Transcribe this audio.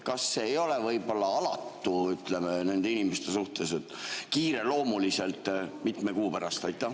Kas see ei ole võib-olla alatu nende inimeste suhtes, et kiireloomuliselt mitme kuu pärast?